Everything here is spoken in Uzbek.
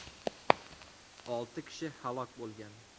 Olti kishi halok bo‘lgan.